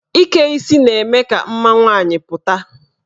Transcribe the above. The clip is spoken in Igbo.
Ike isi na-eme ka mma nwaanyị pụta.